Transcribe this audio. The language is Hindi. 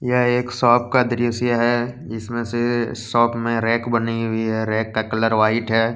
यह एक सोप का दृस्य है। जिसमें से सोप में रैक बनी हुई है। रैक का कलर वाइट है।